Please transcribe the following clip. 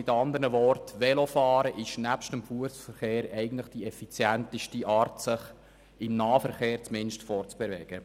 Mit anderen Worten ist Velofahren neben dem Fussverkehr eigentlich die effizienteste Art, sich fortzubewegen, zumindest im Nahverkehr.